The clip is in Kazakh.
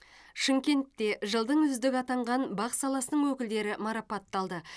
шымкентте жылдың үздігі атанған бақ саласының өкілдері марапатталды